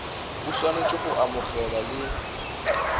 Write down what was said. e swanetše go amogela le